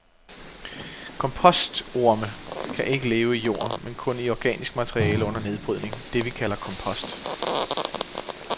Kompostorme kan ikke leve i jord, men kun i organisk materiale under nedbrydning, det vi kalder kompost.